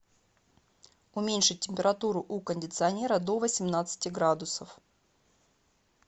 уменьшить температуру у кондиционера до восемнадцати градусов